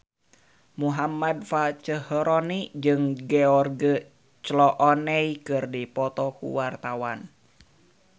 Muhammad Fachroni jeung George Clooney keur dipoto ku wartawan